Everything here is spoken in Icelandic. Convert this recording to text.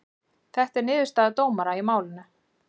Þetta er niðurstaða dómara í málinu